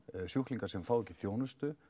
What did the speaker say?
sjúklingar sem fá ekki þjónustu